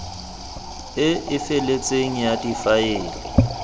e e feletseng ya difaele